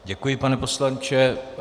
Děkuji, pane poslanče.